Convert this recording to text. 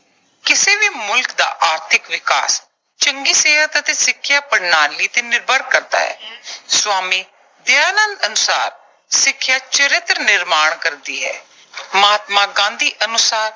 ਕਿਸੇ ਵੀ ਮੁਲਕ ਦਾ ਆਰਥਿਕ ਵਿਕਾਸ ਚੰਗੀ ਸਿਹਤ ਅਤੇ ਸਿੱਖਿਆ ਪ੍ਰਣਾਲੀ ਤੇ ਨਿਰਭਰ ਕਰਦਾ ਹੈ। ਸਵਾਮੀ ਦਯਾਨੰਦ ਅਨੁਸਾਰ ਸਿੱਖਿਆ ਚਰਿੱਤਰ ਨਿਰਮਾਣ ਕਰਦੀ ਹੈ। ਮਹਾਤਮਾ ਗਾਂਧੀ ਅਨੁਸਾਰ